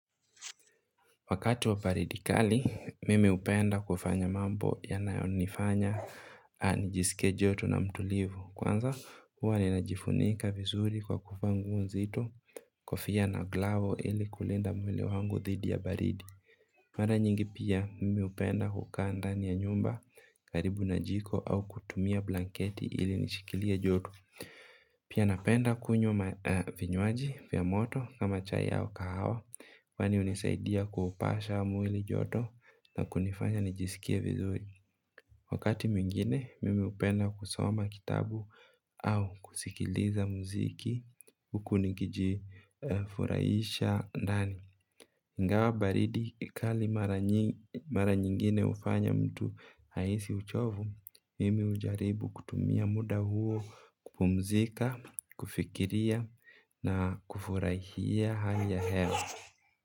Wakati wa baridi kali, mimi hupenda kufanya mambo yanayonifanya nijisike joto na mtulivu. Kwanza, huwa ninajifunika vizuri kwa kuvaa nguo nzito kofia na glove ili kulinda mwili wangu thidi ya baridi. Mara nyingi pia, mimi hupenda hukaa ndani ya nyumba karibu na jiko au kutumia blanketi ili nishikilia joto. Pia napenda kunywa vinywaji vya moto kama chai au kahawa. Kwani hunisaidia kuupasha mwili joto na kunifanya nijisikie vizuri. Wakati mwingine mimi hupenda kusoma kitabu au kusikiliza muziki. Huku nikijifuraisha ndani. Ingawa baridi kali mara nyingine hufanya mtu ahisi uchovu mimi hujaribu kutumia muda huo kupumzika, kufikiria na kufurahia hali ya hewa.